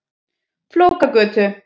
Flókagötu